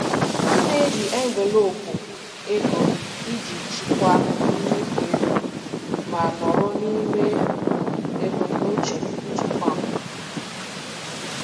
M na-eji envelopu ego iji chịkwaa mmefu ego ma nọrọ n'ime ebumnuche nchekwa m.